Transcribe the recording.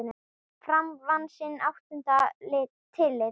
Fram vann sinn áttunda titil.